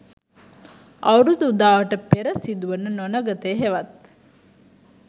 අවුරුදු උදාවට පෙර සිදුවන නොනගතය හෙවත්